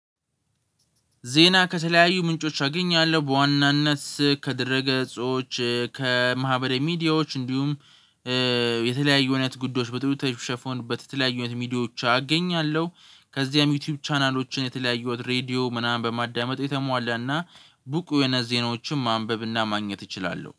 ዜና ከተለያዩ ምንጮች አገኛለሁ በዋናነት ከድረገጾች ከማህበደ ሚዲያዎች እንዲሁም የተለያዩ አይነት ጉዳዮች በጥሩ ሁኔት የተሸፈኑበት በተለያዩ አይነትሚዲያዎች አገኛለሁ። ከዚያም ዩቲዩብ ቻናሎችን የተለያየው ሬድዮ ምናምን በማዳመጥ የተሟላና ብቁ የሆነ ዜናዎችን ማንበብና ማግኘት እችላለሁ